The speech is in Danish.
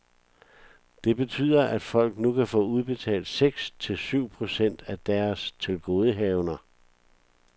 Det betyder, at folk nu kan få udbetalt seks til syv procent af deres tilgodehavender.